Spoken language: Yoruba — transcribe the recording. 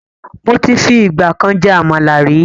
Mo tí fi ìgbàkan jẹ Àmàlà ríi